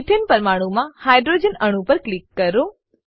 ethane પરમાણુમાં hydrogen અણુ પર ક્લિક કરો